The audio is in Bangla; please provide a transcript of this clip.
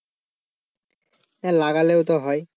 হ্যাঁ লাগালেও তো হয়।